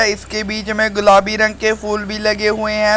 इसके बीच में गुलाबी रंग के फूल भी लगे हुए हैं।